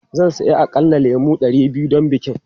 Zan saya aƙalla lemu ɗari biyu don bikin.